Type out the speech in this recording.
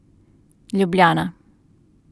Ljubljana.